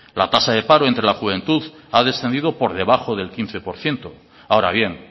la tasa de paro entre la juventud ha descendido por debajo del quince por ciento ahora bien